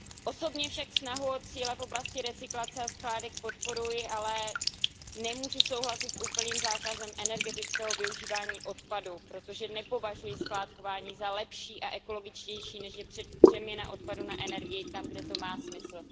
Osobně snahu o cíle v oblasti recyklace a skládek podporuji, ale nemůžu souhlasit s úplným zákazem energetického využívání odpadu, protože nepovažuji skládkování za lepší a ekologičtější, než je přeměna odpadu na energii tam, kde to má smysl.